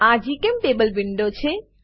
આ જીચેમ્ટેબલ વિન્ડો છે